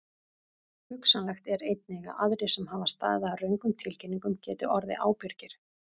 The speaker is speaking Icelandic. Hugsanlegt er einnig að aðrir sem hafa staðið að röngum tilkynningum geti orðið ábyrgir.